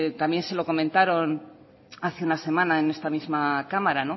también se lo comentaron hace una semana en esta misma cámara